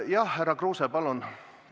Jah, härra Kruuse, palun!